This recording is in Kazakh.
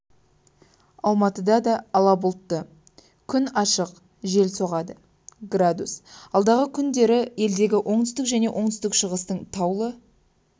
алматыда да ала бұлтты күн ашық жел соғады градус алдағы күндері елдегі оңтүстік пен оңтүстік-шығыстың таулы